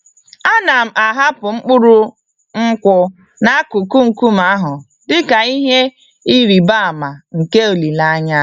Ana m ahapụ mkpụrụ nkwụ n'akụkụ nkume ahụ dị ka ihe ịrịba ama nke olileanya.